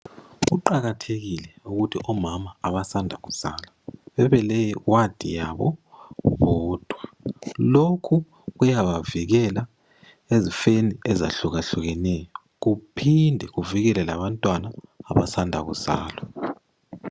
Kuqakathekile ukuthi omama abasanda kuzala babe le wadi yabo bodwa .Lokhu kuyabavikela ezifeni ezehlukahlukaneyo ,kuphinde kuvikele labantwana abasanda kuzalwa.